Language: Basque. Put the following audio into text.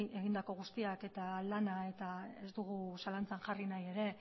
egindako guztiak eta lana eta ez dugu zalantzan jarri nahi ere